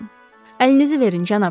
Əlinizi verin, cənab.